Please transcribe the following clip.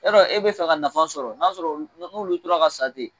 Y'a dɔ e bi fɛ ka nafa sɔrɔ n'a sɔrɔ no'lu tora ka san ten